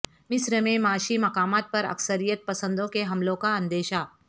مصر میں معاشی مقامات پر عسکریت پسندوں کے حملوں کا اندیشہ